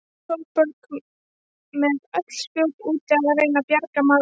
Sólborg með öll spjót úti að reyna að bjarga málunum.